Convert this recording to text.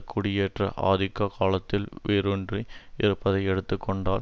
குடியேற்ற ஆதிக்க காலத்தில் வேரூன்றி இருப்தை எடுத்து கொண்டால்